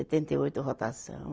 Setenta e oito rotação.